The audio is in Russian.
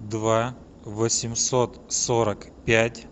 два восемьсот сорок пять